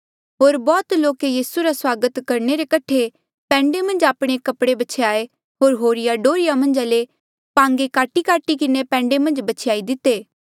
होर बौह्त लोके यीसू रा स्वागत करणे रे कठे पैंडे मन्झ आपणे कपड़े ब्छ्याये होर होरिये डोहर्रिया मन्झा ले पांगे काटीकाटी किन्हें पैंडे मन्झ ब्छ्यायी दिती